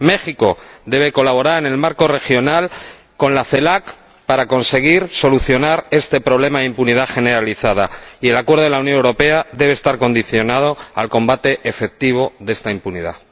México debe colaborar en el marco regional con la CELAC para conseguir solucionar este problema de impunidad generalizada, y el Acuerdo de la Unión Europea debe estar condicionado al combate efectivo de esta impunidad.